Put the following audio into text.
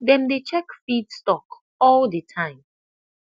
dem dey check feed stock all the time